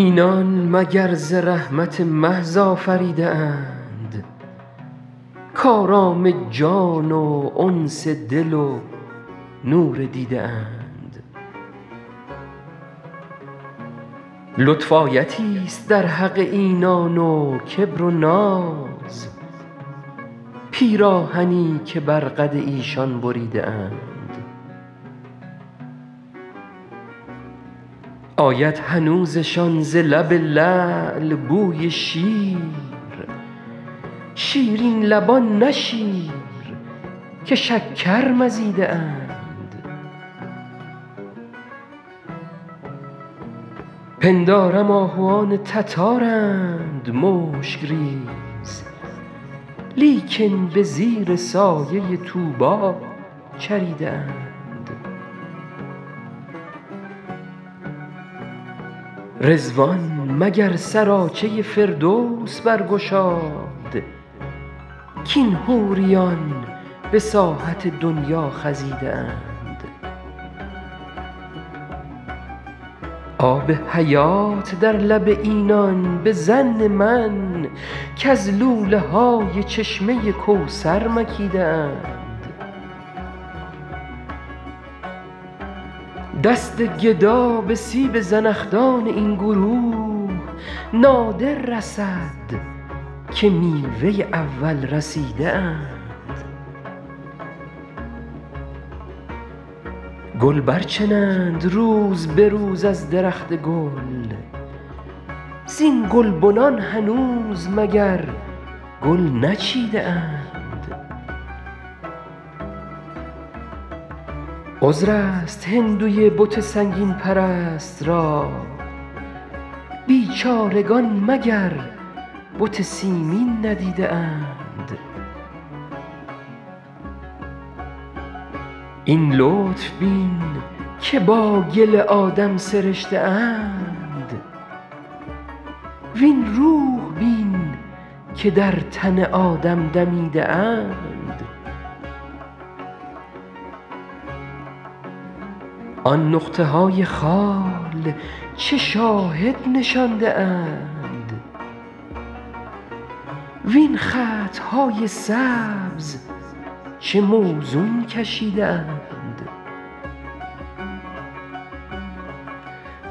اینان مگر ز رحمت محض آفریده اند کآرام جان و انس دل و نور دیده اند لطف آیتی ست در حق اینان و کبر و ناز پیراهنی که بر قد ایشان بریده اند آید هنوزشان ز لب لعل بوی شیر شیرین لبان نه شیر که شکر مزیده اند پندارم آهوان تتارند مشک ریز لیکن به زیر سایه طوبی چریده اند رضوان مگر سراچه فردوس برگشاد کاین حوریان به ساحت دنیا خزیده اند آب حیات در لب اینان به ظن من کز لوله های چشمه کوثر مکیده اند دست گدا به سیب زنخدان این گروه نادر رسد که میوه اول رسیده اند گل برچنند روز به روز از درخت گل زین گلبنان هنوز مگر گل نچیده اند عذر است هندوی بت سنگین پرست را بیچارگان مگر بت سیمین ندیده اند این لطف بین که با گل آدم سرشته اند وین روح بین که در تن آدم دمیده اند آن نقطه های خال چه شاهد نشانده اند وین خط های سبز چه موزون کشیده اند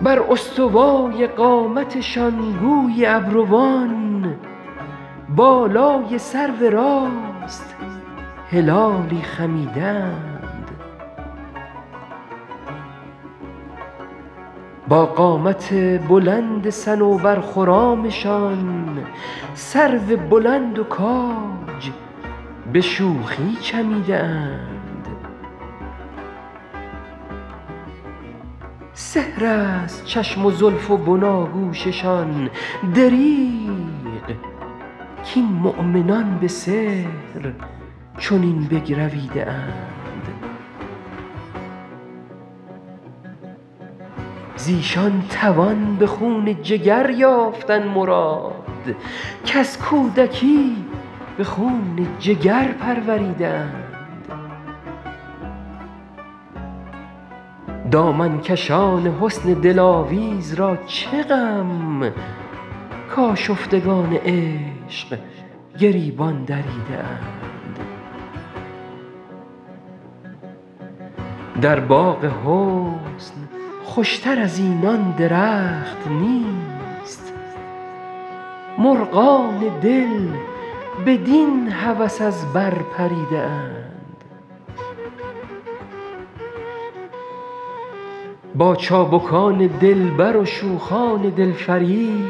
بر استوای قامتشان گویی ابروان بالای سرو راست هلالی خمیده اند با قامت بلند صنوبرخرامشان سرو بلند و کاج به شوخی چمیده اند سحر است چشم و زلف و بناگوششان دریغ کاین مؤمنان به سحر چنین بگرویده اند ز ایشان توان به خون جگر یافتن مراد کز کودکی به خون جگر پروریده اند دامن کشان حسن دلاویز را چه غم کآشفتگان عشق گریبان دریده اند در باغ حسن خوش تر از اینان درخت نیست مرغان دل بدین هوس از بر پریده اند با چابکان دلبر و شوخان دل فریب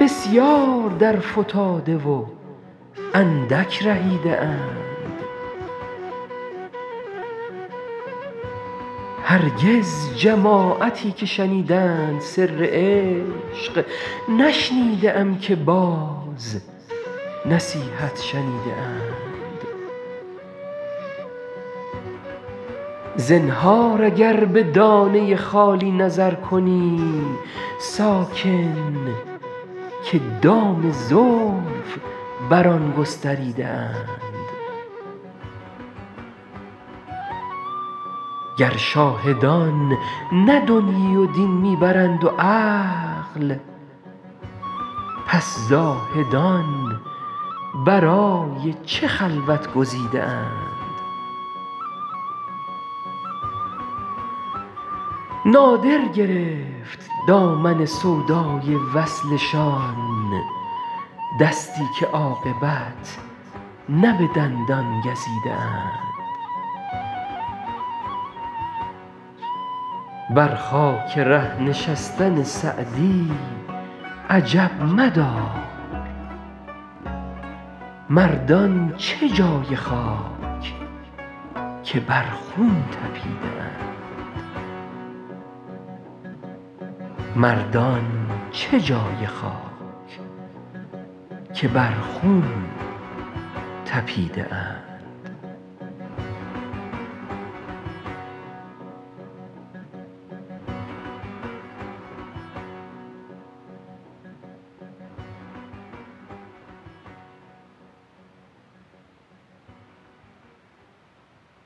بسیار درفتاده و اندک رهیده اند هرگز جماعتی که شنیدند سر عشق نشنیده ام که باز نصیحت شنیده اند زنهار اگر به دانه خالی نظر کنی ساکن که دام زلف بر آن گستریده اند گر شاهدان نه دنیی و دین می برند و عقل پس زاهدان برای چه خلوت گزیده اند نادر گرفت دامن سودای وصلشان دستی که عاقبت نه به دندان گزیده اند بر خاک ره نشستن سعدی عجب مدار مردان چه جای خاک که بر خون طپیده اند